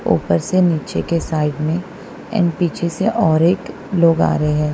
ऊपर से नीचे के साइड में एंड पीछे से और एक लोग आ रहे हैं।